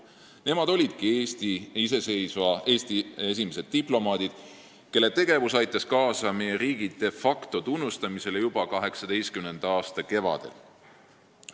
Nemad olidki iseseisva Eesti esimesed diplomaadid, kelle tegevus aitas kaasa meie riigi de facto tunnustamisele juba 1918. aasta kevadel.